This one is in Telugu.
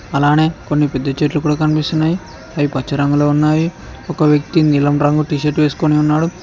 అలానే కొన్ని పెద్ద చెట్లు కూడా కనిపిస్తున్నాయి అవి పచ్చ రంగులో ఉన్నావి ఒక వ్యక్తి నిలం రంగు టీ షర్ట్ వేసుకొని ఉన్నాడు.